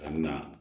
A bɛ na